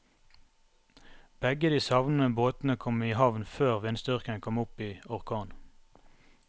Begge de savnede båtene kom i havn før vindstyrken kom opp i orkan.